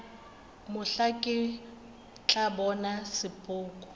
mohla ke tla bona sepoko